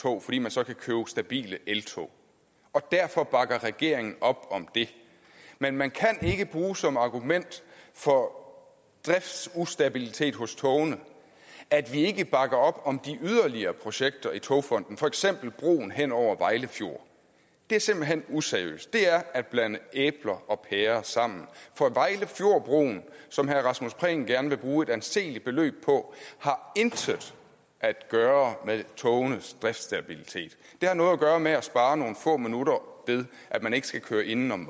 tog fordi man så kan købe stabile eltog derfor bakker regeringen op om det men man kan ikke bruge som argument for driftsustabilitet for togene at vi ikke bakker op om de yderligere projekter i togfonden dk for eksempel broen hen over vejle fjord det er simpelt hen useriøst det er at blande æbler og pærer sammen for vejlefjordbroen som herre rasmus prehn gerne vil bruge et anseligt beløb på har intet at gøre med togenes driftsstabilitet det har noget at gøre med at spare nogle få minutter ved at man ikke skal køre inden om